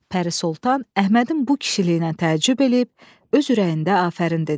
Pəri Soltan Əhmədin bu kişiliyinə təəccüb eləyib, öz ürəyində afərin dedi.